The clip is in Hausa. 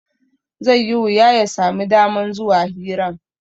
Zai yi wuya ya sami daman zuwa hiran